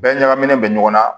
Bɛɛ ɲagaminen bɛ ɲɔgɔn na